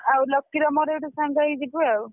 ଆଉ ଲକିର ମୋର ଏଇଠୁ ସାଙ୍ଗ ହେଇକି ଯିବୁ ଆଉ।